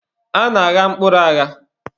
A na-agha mkpụrụ agha.